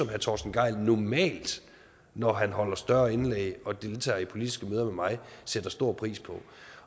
herre torsten gejl normalt når han holder større indlæg og deltager i politiske møder med mig sætter stor pris på